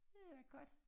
Det er godt